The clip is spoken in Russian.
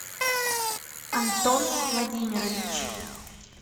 антон владимирович